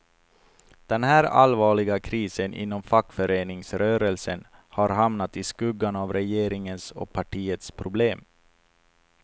Den här allvarliga krisen inom fackföreningsrörelsen har hamnat i skuggan av regeringens och partiets problem.